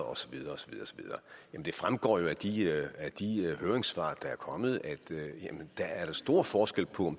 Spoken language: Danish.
og så videre men det fremgår jo af de høringssvar der er kommet at der er stor forskel på